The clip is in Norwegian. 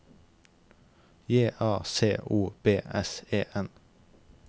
J A C O B S E N